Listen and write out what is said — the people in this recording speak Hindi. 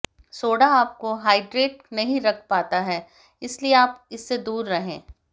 सोडा आपको हाइड्रेटेड नहीं रख पाता है इसलिए आप इससे दूर रहें